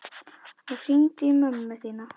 Og hringdu í mömmu þína.